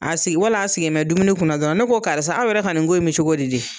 A sigi wala a sigin mɛ dumuni kun na dɔrɔn ne ko karisa aw yɛrɛ ka nin ko in me cogo di de.